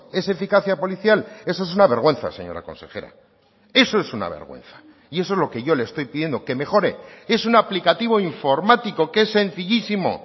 es eficacia policial eso es una vergüenza señora consejera eso es una vergüenza y eso es lo que yo le estoy pidiendo que mejore es un aplicativo informático que es sencillísimo